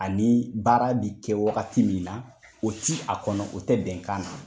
Ani baara bi kɛ wagati min na ,o ti a kɔnɔ o ti bɛnkan na.